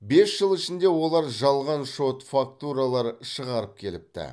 бес жыл ішінде олар жалған шот фактуралар шығарып келіпті